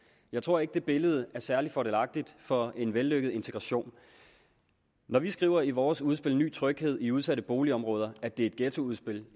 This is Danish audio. jeg tror ikke det billede er særlig fordelagtigt for en vellykket integration når vi skriver i vores udspil ny tryghed i udsatte boligområder at det er et ghettoudspil